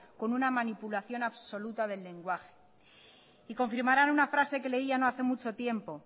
con una manipulación absoluta del lenguaje y confirmarán una frase que leía no hace mucho tiempo